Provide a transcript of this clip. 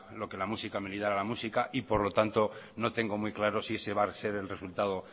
lo que la música a la música y por lo tanto no tengo muy claro si ese va a ser el resultado